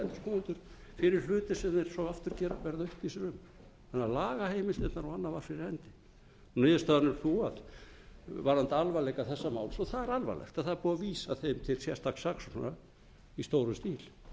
dæma endurskoðendur fyrir hluti sem þeir svo aftur verða uppvísir um þannig að lagaheimildirnar og annað var fyrir hendi niðurstaðan er sú varðandi alvarleika þessa máls og það er alvarlegt að það er búið að vísa þeim til sérstaks